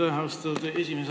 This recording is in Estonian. Aitäh, austatud esimees!